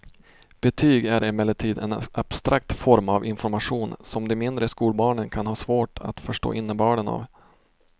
Betyg är emellertid en abstrakt form av information som de mindre skolbarnen kan ha svårt att förstå innebörden av.